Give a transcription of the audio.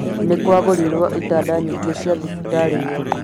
Nĩ kwagũrirũo itanda nyingĩ cia thibitarĩ iyo